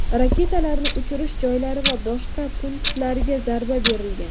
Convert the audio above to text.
raketalarni uchirish joylari va boshqa punktlariga zarba berilgan.